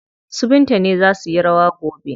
Su Binta ne za suyi rawa gobe.